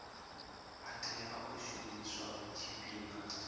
a tea u shumiswa tshifhinga